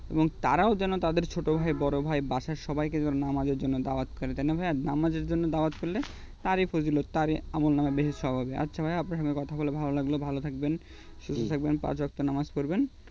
এবং তারাও যেন তাদের ছোট ভাই বড় ভাই বাসার সবাইকে যেন নামাজের জন্য দাওয়াত করে তাই না ভাইয়া নামাজের জন্য দাওয়াত করলে তারই ফজিলত তারই আমলনামায় বেশি সব হবে আচ্ছা ভাইয়া আপনার সাথে কথা বলে ভালো লাগলো ভালো থাকবেন সুস্থ থাকবেন হম পাঁচ ওয়াক্ত নামাজ পড়বেন